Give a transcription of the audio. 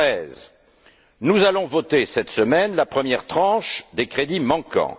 2013. Nous allons voter cette semaine la première tranche des crédits manquants.